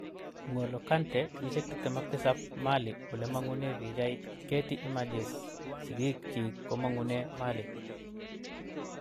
N'golo Kant�, 27 (Mali) ulemagune pichait, Getty Images Sigik chik komagune Mali.